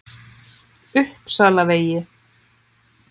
Uppsalavegi